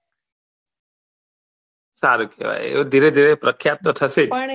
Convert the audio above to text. સારું કેહવાય એ ધીરે ધીરે પ્રખ્યાત તો થશે